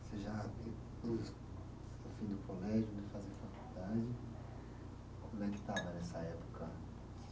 Você já o fim do colégio, fazer faculdade, como é que estava nessa época?